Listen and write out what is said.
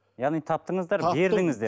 яғни таптыңыздар бердіңіздер